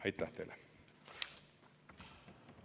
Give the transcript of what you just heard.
Aitäh teile!